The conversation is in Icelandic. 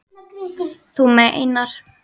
Þú meinar!